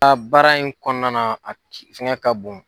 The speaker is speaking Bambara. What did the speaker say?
baara in kɔnɔna na a fɛngɛ ka bon.